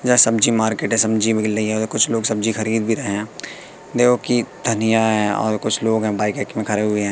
यह सब्जी मार्केट है सब्जी मिल रही है और कुछ लोग सब्जी खरीद भी रहे हैं देव की धनिया है और कुछ लोग हैं बाइक आइक में खड़े हुए हैं।